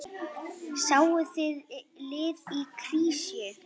Sáuð þið lið í krísu?